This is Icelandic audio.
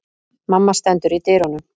Mamma stendur í dyrunum.